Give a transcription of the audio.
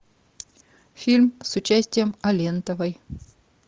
фильм с участием алентовой